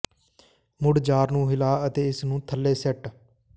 ਮੁੜ ਜਾਰ ਨੂੰ ਹਿਲਾ ਅਤੇ ਇਸ ਨੂੰ ਥੱਲੇ ਸੈੱਟ